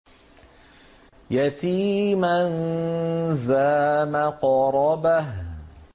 يَتِيمًا ذَا مَقْرَبَةٍ